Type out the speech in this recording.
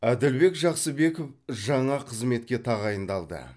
әділбек жақсыбеков жаңа қызметке тағайындалды